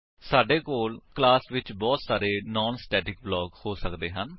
ਸਾਡੇ ਕੋਲ ਕਲਾਸ ਵਿੱਚ ਬਹੁਤ ਸਾਰੇ ਨਾਨ ਸਟੇਟਿਕ ਬਲਾਕਸ ਹੋ ਸੱਕਦੇ ਹਨ